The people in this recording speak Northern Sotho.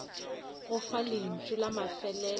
go fa lentšu la mafelelo